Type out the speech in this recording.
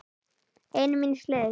Einn míns liðs.